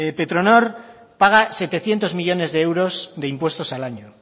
petronor paga setecientos millónes de euros de impuestos al año